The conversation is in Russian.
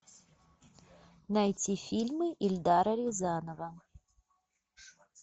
найти фильмы эльдара рязанова